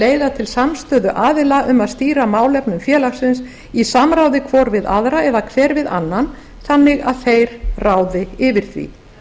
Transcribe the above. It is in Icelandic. leiða til samstöðu aðila um að stýra málefnum félagsins í samráði hvor eða hver við annan þannig að þeir ráði yfir því